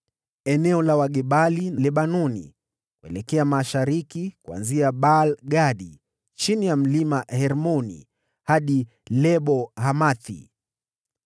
eneo la Wagebali; Lebanoni yote kuelekea mashariki, kuanzia Baal-Gadi chini ya Mlima Hermoni hadi Lebo-Hamathi.